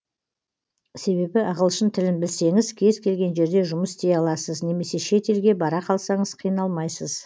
себебі ағылшын тілін білсеңіз кез келген жерде жұмыс істей аласыз немесе шет елге бара қалсаңыз қиналмайсыз